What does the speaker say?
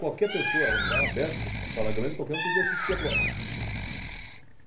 Qualquer pessoa, era um lugar aberto, uma sala grande, qualquer um podia assistir à prova.